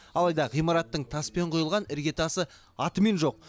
алайда ғимараттың таспен құйылған іргетасы атымен жоқ